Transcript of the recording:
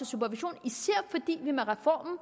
supervision især fordi vi med reformen